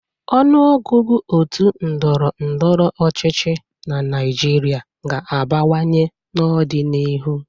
Ọnụọgụgụ òtù ndọrọ ndọrọ ọchịchị na Naịjirịa ga-abawanye n'ọdịnihu.